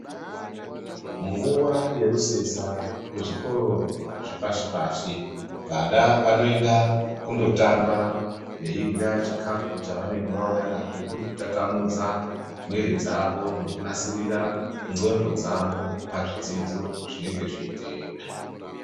Panguwa yerusesa kuzvikoro zvepashi-pashi, vana vanoenda kundotamba veirya chikhafu chavanenge vauya nazvo ,kuri kutatamudza mwiri dzavo ngekunasirira ndxondo dzavo, pazvidzidzo zvinenge zveizoteera.